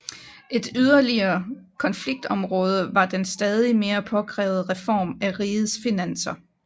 Et yderligere konfliktområde var den stadig mere påkrævede reform af rigets finanser